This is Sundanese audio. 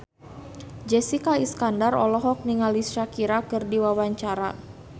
Jessica Iskandar olohok ningali Shakira keur diwawancara